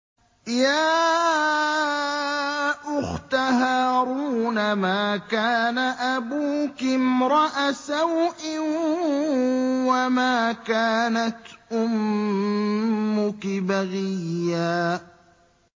يَا أُخْتَ هَارُونَ مَا كَانَ أَبُوكِ امْرَأَ سَوْءٍ وَمَا كَانَتْ أُمُّكِ بَغِيًّا